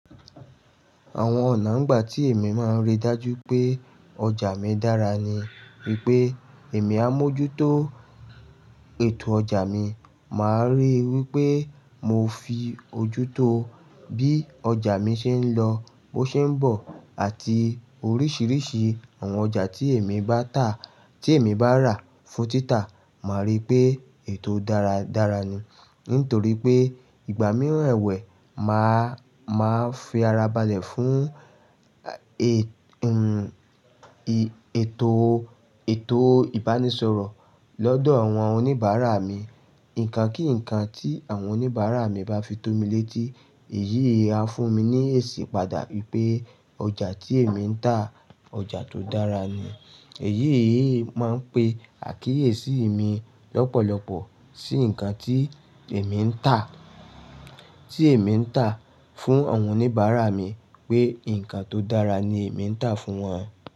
Àwọn ọ̀nà nígbà tí èmi máa ń rí dájú pé ọjà mi dára ni wípé èmi á mójútó ètò ọjà mi, màá ríi wípé mo fi ojútó bí ọjà mi ṣe ń lọ, bó ṣe ń bọ̀ àti oríṣiríṣi àwọn ọjà tí èmi bá tà, tí èmi bá rà fún títà, màá rí pé ètò dára dára ni. Nítorí pé ìgbà mìíràn ẹ̀wẹ̀ máa, máa fi ara balẹ̀ fún e-n-i ètò, ètò ìbánisọ̀rọ̀ lọ́dọ̀ àwọn oníbàárà mi. Ǹkan kí ǹkan tí àwọn oníbàárà mi bá fi tó mi létí, èyí á fún mi ní ìsìpadà wípé ọjà tí èmi ń tà, ọjà tó dára ni. Èyí yìí máa ń pe àkíyèsí mi lọ́pọ̀lọpọ̀ sí ǹkan tí èmi ń tà, tí èmi ń tà fún àwọn oníbàárà mi pé ǹkan tó dára ni èmi ń tà fún wọn.